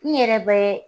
N yɛrɛ bɛ